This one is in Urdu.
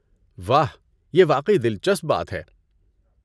واہ! یہ واقعی دلچسپ بات ہے۔